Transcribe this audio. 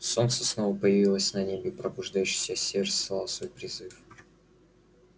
солнце снова появилось на небе и пробуждающийся север слал свой призыв